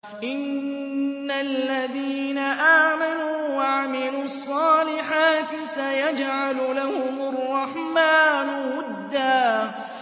إِنَّ الَّذِينَ آمَنُوا وَعَمِلُوا الصَّالِحَاتِ سَيَجْعَلُ لَهُمُ الرَّحْمَٰنُ وُدًّا